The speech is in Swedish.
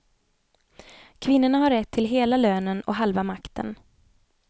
Kvinnorna har rätt till hela lönen och halva makten.